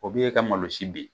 O dun y'e ka malo si bin.